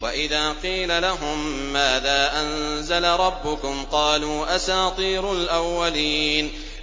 وَإِذَا قِيلَ لَهُم مَّاذَا أَنزَلَ رَبُّكُمْ ۙ قَالُوا أَسَاطِيرُ الْأَوَّلِينَ